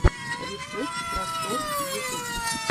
рецепт просторъ ютуб